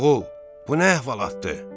Oğul, bu nə əhvalatdır?